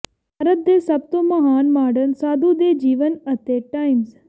ਭਾਰਤ ਦੇ ਸਭ ਤੋਂ ਮਹਾਨ ਮਾਡਰਨ ਸਾਧੂ ਦੇ ਜੀਵਨ ਅਤੇ ਟਾਈਮਜ਼